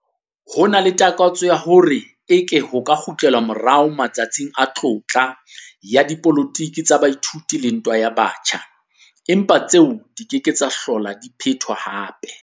Ho na le takatso ya hore eke ho ka kgutlelwa morao 'matsatsing a tlotla' ya dipolotiki tsa baithuti le ntwa ya batjha, empa tseo di ke ke tsa hlola di phetwa hape.